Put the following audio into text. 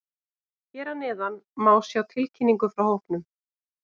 Hér að neðan má sjá tilkynningu frá hópnum.